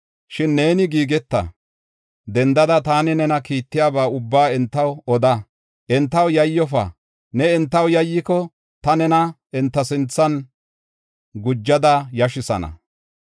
“Shin neeni giigeta! Dendada taani nena kiittiyaba ubbaa entaw oda. Entaw yayyofa; ne entaw yayyiko, ta nena enta sinthan gujada yashisana.